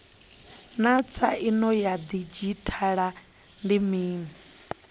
naa tsaino ya didzhithala ndi mini